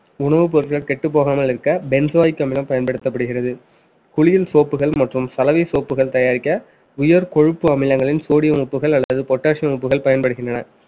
உணவுப் பொருட்கள் கெட்டப் போகாமல் இருக்க benzoic அமிலம் பயன்படுத்தப்படுகிறது குளியல் soap கள் மற்றும் சலவை soap கள் தயாரிக்க உயர் கொழுப்பு அமிலங்களின் sodium உப்புகள் அல்லது potassium உப்புகள் பயன்படுகின்றன